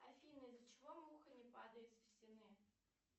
афина из за чего муха не падает со стены